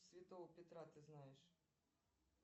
святого петра ты знаешь